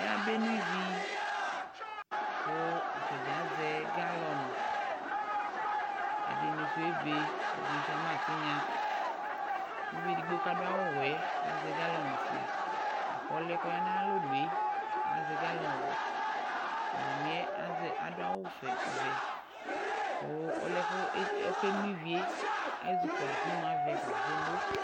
Ayabeno ivi : kʋ atadza azɛ galɔnɩ ; ɛdɩnɩ sʋ ebe, ɛdɩnɩ sʋ ama tɩnya Uvi edigbo k'adʋ awʋwɛɛ azɛ galɔnɩfue , lak'ɔlʋɛ k'ɔya n'ayalonue azɛ galɔnɩwɛ Mamɩɛ azɛ adʋ awʋvɛ vɛ; kʋ olʋɛ k'oke no ivie ezi kɔlʋ k'imu avɛfa k'okeno